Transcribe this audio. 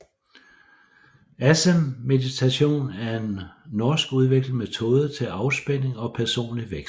Acemmeditation er en norskudviklet metode til afspænding og personlig vækst